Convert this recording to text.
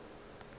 ka ge le šetše le